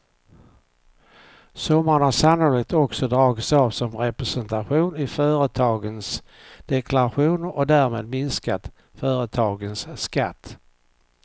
Summan har sannolikt också dragits av som representation i företagens deklarationer och därmed minskat företagens skatt.